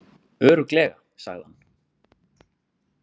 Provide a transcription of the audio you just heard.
Örugglega, sagði hann.